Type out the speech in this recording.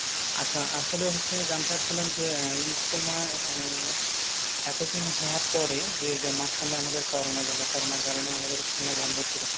আচ্ছা, আসলে হচ্ছে- জানতে চাচ্ছিলাম যে, ইজতেমায় আহ এতদিন হওয়ার পরে যে মাঝখানে আমাদের করোনা গেল, করোনার কারণে আমাদের ইজতেমাও বন্ধ ছিল।